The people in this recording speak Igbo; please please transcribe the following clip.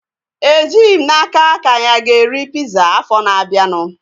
Ejighị m n'aka ka anyi a ga-eri piza afọ na-abianu